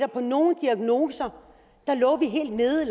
på nogle diagnoser lå vi helt nede